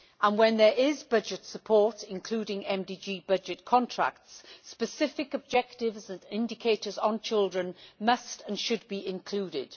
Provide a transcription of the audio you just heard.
When there is budget support, including MDG budget contracts, specific objectives and indicators on children must and should be included.